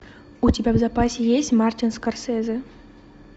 у тебя в запасе есть мартин скорсезе